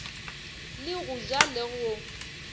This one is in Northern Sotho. le go ja le go